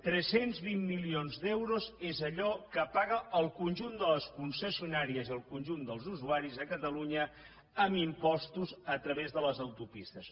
tres cents vint milions d’euros és allò que paguen el conjunt de les concessionàries i el conjunt dels usuaris a catalunya amb impostos a través de les autopistes